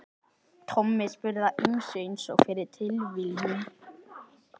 Tommi spurði að ýmsu einsog fyrir tilviljun.